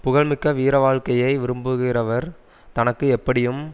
புகழ்மிக்க வீர வாழ்க்கையை விரும்புகிறவர் தனக்கு எப்படியும்